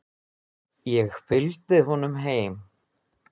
Ég fylgdi honum heim.